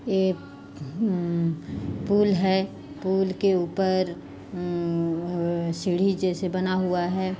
एक हम पुल है पुल के ऊपर हम सीढ़ी जैसे बना हुआ हैं।